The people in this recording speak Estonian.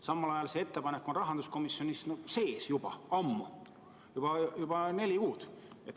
Samal ajal on see ettepanek olnud rahanduskomisjonis juba ammu, neli kuud.